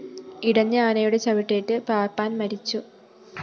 ഇടഞ്ഞ ആനയുടെ ചവിട്ടേറ്റ് പാപ്പാന്‍ മരിച്ചു